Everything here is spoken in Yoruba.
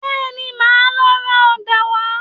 Bẹ́ẹ̀ni, màá lọ ra ọ̀dà wá